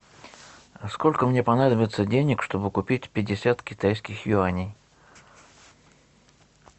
а сколько мне понадобится денег чтобы купить пятьдесят китайских юаней